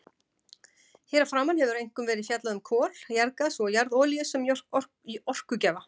Hér að framan hefur einkum verið fjallað um kol, jarðgas og jarðolíu sem orkugjafa.